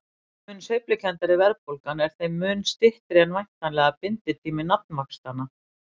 Þeim mun sveiflukenndari verðbólgan er þeim mun styttri er væntanlega binditími nafnvaxtanna.